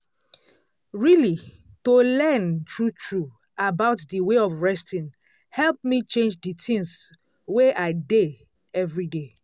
really to learn true true about d way of resting help me change d things wey i dey everyday.